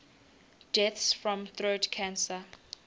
deaths from throat cancer